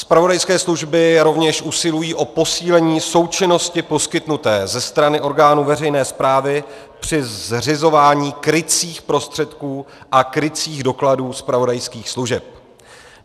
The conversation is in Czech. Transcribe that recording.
Zpravodajské služby rovněž usilují o posílení součinnosti poskytnuté ze strany orgánů veřejné správy při zřizování krycích prostředků a krycích dokladů zpravodajských služeb.